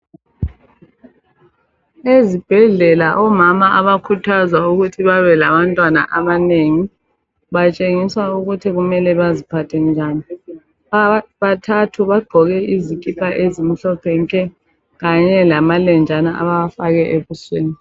Ezibhedlela omama abakhuthazwa ukuthi babe labantwana abanengi, batshengiswa ukuthi kumele baziphathe njani, bathathu bagqoke izikipa ezimhlophe nke, kanye lamalenjana abawafake ebusweni.